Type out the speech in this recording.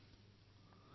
২০১৮ বৰ্ষ সমাপ্তিৰ পথত